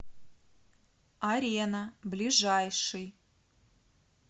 арена ближайший